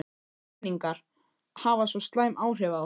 renningar hafa svo slæm áhrif á okkur.